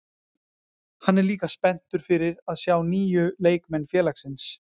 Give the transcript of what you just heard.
Hann er líka spenntur fyrir að sjá nýju leikmenn félagsins.